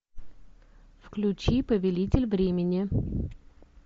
включи повелитель времени